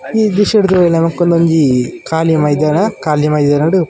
ಈ ದ್ರಶ್ಯಡ್ ನಮಕ್ ಒಂಜಿ ಕಾಲಿ ಮೈದಾನ ಕಾಲಿ ಮೈದಾನೊಡ್ --